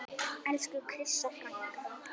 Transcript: Elsku Krissa frænka.